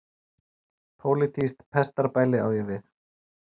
Pólitískt pestarbæli á ég við.